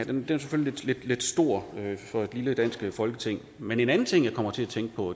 den er selvfølgelig lidt stor for et lille dansk folketing men en anden ting jeg kommer til at tænke på